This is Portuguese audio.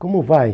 Como vai?